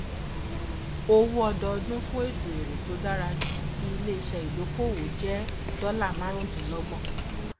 owó ọdọọdún fún ètò èrè tó dára jù ti iléiṣẹ ìdókòwò jẹ dọlà márùndínlọgbọn